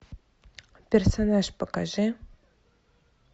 персонаж покажи